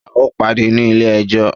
A o pàdé ní ilé ẹjọ́!